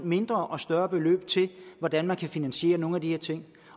mindre og større beløb til hvordan man kan finansiere nogle af de her ting